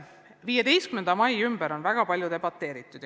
15. mai üle on väga palju debateeritud.